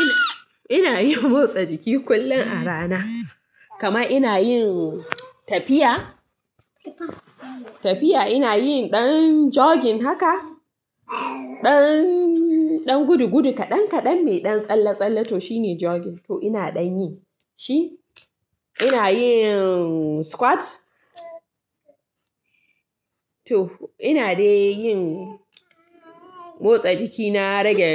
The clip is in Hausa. Ina, ina yin motsa jiki kullum a rana. Kama ina yin tafiya, tafiya ina yin ɗan jogging haka. Ɗan, ɗan gudugudu kaɗan kaɗan mai ɗan tsalle-tsalle toh shine jogging. Toh ina ɗan yi shi. Ina yin squat. Toh ina dai yin motsa jiki na rage